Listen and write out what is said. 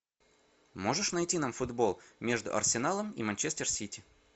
можешь найти нам футбол между арсеналом и манчестер сити